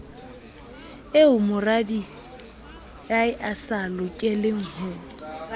eo moradiae a sa lokelengho